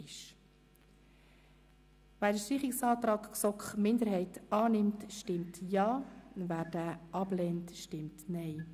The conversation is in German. Wer den Streichungsantrag der GSOK-Minderheit annimmt, stimmt Ja, wer diesen ablehnt, stimmt Nein.